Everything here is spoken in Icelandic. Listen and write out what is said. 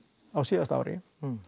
á síðasta ári